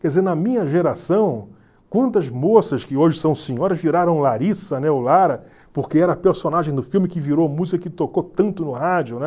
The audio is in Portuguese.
Quer dizer, na minha geração, quantas moças que hoje são senhoras viraram Larissa, né, ou Lara, porque era a personagem do filme que virou a música que tocou tanto no rádio, né?